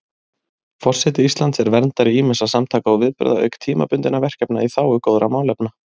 Forseti Íslands er verndari ýmissa samtaka og viðburða auk tímabundinna verkefna í þágu góðra málefna.